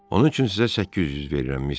Onun üçün sizə 800 verirəm, Mister.